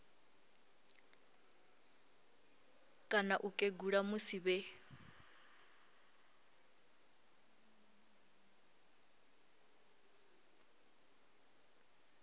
kana u kegula musi vhe